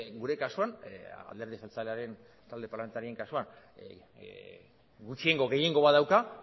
gure kasuan alderdi jeltzalearen talde parlamentarioaren kasuan gutxiengo gehiengo bat dauka